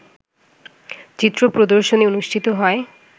চিত্র প্রদর্শনী অনুষ্ঠিত হয়